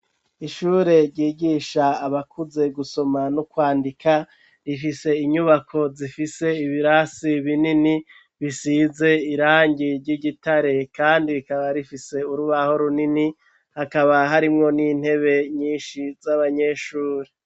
Ishure ryigisha abakuze gusoma n'ukwandika rifise inyubako zifise ibirasi binini bisize irangi ry'igitare, kandi bikaba rifise urubaho runini hakaba harimwo n'intebe nyinshi z'abanyeshuri.